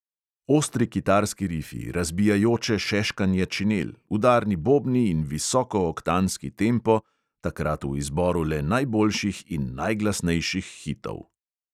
Ostri kitarski rifi, razbijajoče šeškanje činel, udarni bobni in visokooktanski tempo, takrat v izboru le najboljših in najglasnejših hitov.